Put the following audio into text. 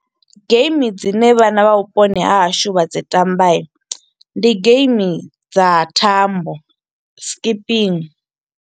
Game dzine vhana vha vhuponi hahashu vha dzi tambai, ndi game dza thambo, skipping.